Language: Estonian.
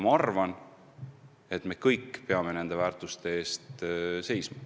Ma arvan, et me kõik peame nende väärtuste eest seisma.